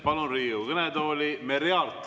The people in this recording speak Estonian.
Palun Riigikogu kõnetooli Merry Aarti.